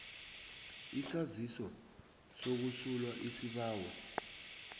isaziso sokusulwa isibawo